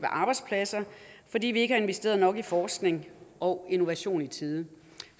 og arbejdspladser fordi vi ikke har investeret nok i forskning og innovation i tide